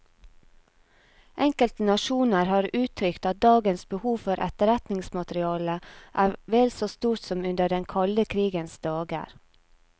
Enkelte nasjoner har uttrykt at dagens behov for etterretningsmateriale er vel så stort som under den kalde krigens dager.